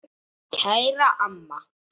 Kæra amma.